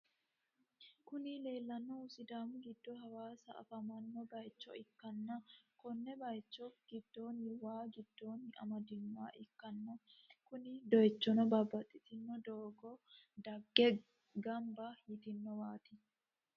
Kuni lelanohu sidaami gido hawassa afamao bayicho ikana ko’o bayicho gidoni waa gidonni amadinha ikana kuni doyichino babatitino dogo dagge ganiba yitinowati.